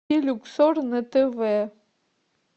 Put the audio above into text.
люксор на тв